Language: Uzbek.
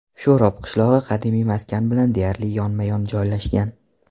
Sho‘rob qishlog‘i qadimiy maskan bilan deyarli yonma-yon joylashgan.